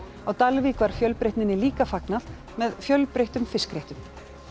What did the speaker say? á Dalvík var fjölbreytninni líka fagnað með fjölbreyttum fiskréttum